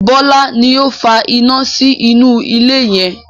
Bọlá ni ó fa iná sí inú ilé yẹn